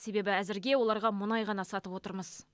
себебі әзірге оларға мұнай ғана сатып отырмыз